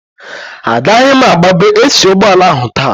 Agaghị m agbabe AC ụgbọala ahụ taa